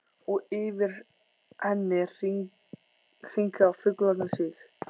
Og yfir henni hringa fuglarnir sig.